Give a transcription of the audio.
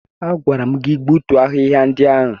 Agwara m gị gbutuo ahịhịa ndị ahụ!